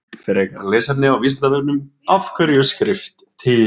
Frekara lesefni á Vísindavefnum Af hverju er skrift til?